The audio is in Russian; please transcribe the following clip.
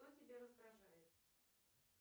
кто тебя раздражает